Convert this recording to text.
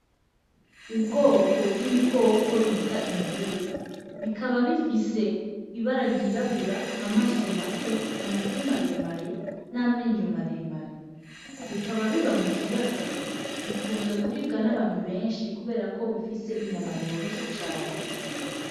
Ubwoko bw'ibikoko bita imvubu, bikaba bifise Ibara ry'irabura, amaso mato, amatwi maremare n'amenyo maremare bikaba biba mu kiyaga, bikunzwe kuribwa n'abantu benshi kuberako bifise inyama yoroshe cane.